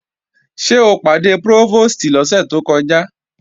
Ṣé o pàdé Prófòstì lọ́sẹ̀ tó kọjá?